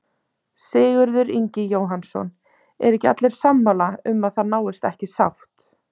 Sigurður Ingi Jóhannsson: Eru ekki allir sammála um að það náist ekki sátt?